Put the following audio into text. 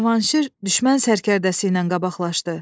Cavanşir düşmən sərkərdəsi ilə qabaqlaşdı.